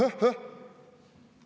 Eh-eh-eh!